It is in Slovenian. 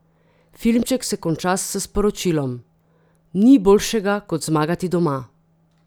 Filmček se konča s sporočilom: "Ni boljšega kot zmagati doma.